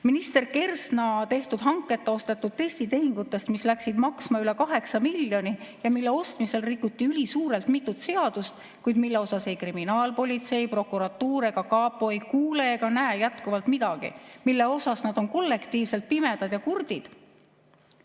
Minister Kersna korraldas hanketa testitehingud, mis läksid maksma üle 8 miljoni ja mille ostmisel rikuti ülisuurelt mitut seadust, kuid ei kriminaalpolitsei, prokuratuur ega kapo ei kuule ega näe jätkuvalt midagi, nad on kollektiivselt pimedad ja kurdid.